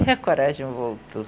a coragem voltou.